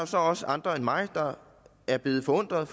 så også andre end mig der er blevet forundret